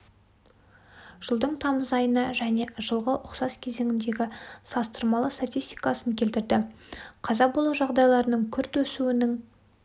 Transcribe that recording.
жылдың тамыз айына және жылғы ұқсас кезеңіндегі салыстырмалы статистикасын келтірді қаза болу жағдайларының күрт өсуінің